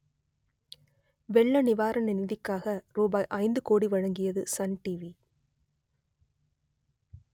வெள்ள நிவாரண நிதிக்காக ரூபாய் ஐந்து கோடி வழங்கியது சன் டிவி